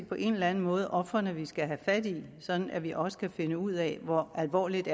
på en eller anden måde ofrene vi skal have fat sådan at vi også kan finde ud af hvor alvorligt